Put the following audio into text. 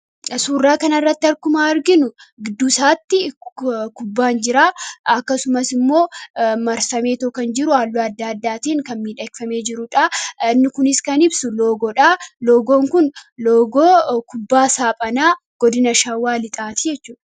Suuraa kanarratti akkuma arginu gidduu isaatti kubbaan jira. Akkasumas immoo marsamee kan jiru halluu adda addaatiin miidhagfamee jirudha. Inni kunis kan ibsu loogoodha. Loogoon kun loogoo kubbaa saaphanaa godina Shawaa Lixaati jechuudha.